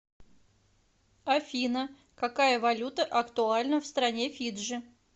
афина какая валюта актуальна в стране фиджи